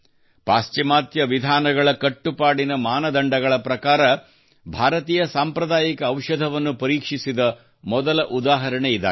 ಪಾಶ್ಚಿಮಾತ್ಯ ವಿಧಾನಗಳ ಕಟ್ಟುನಿಟ್ಟಾದ ಮಾನದಂಡಗಳ ಪ್ರಕಾರ ಭಾರತೀಯ ಸಾಂಪ್ರದಾಯಿಕ ಔಷಧವನ್ನು ಪರೀಕ್ಷಿಸಿದ ಮೊದಲ ಉದಾಹರಣೆ ಇದಾಗಿದೆ